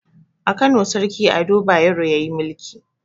A kano sarki ado bayero yayi mulki